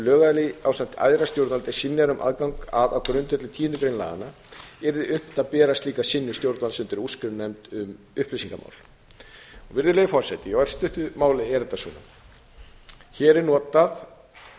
lögaðili ásamt æðra stjórnvaldi synjar um aðgang að á grundvelli tíundu greinar laganna yrði unnt að bera slíka synjun stjórnvalds undir úrskurðarnefnd um upplýsingamál virðulegi forseti í örstuttu máli er þetta svona hér er notað